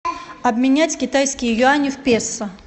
обменять китайские юани в песо